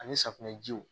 Ani safunɛjiw